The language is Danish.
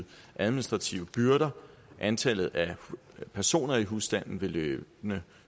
administrative byrder da antallet af personer i husstanden løbende